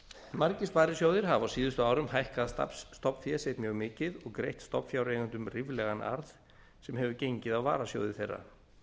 margir sparisjóðir hafa á síðustu árum hækkað stofnfé sitt mjög mikið og greitt stofnfjáreigendum ríflegan arð sem hefur gengið á varasjóði þeirra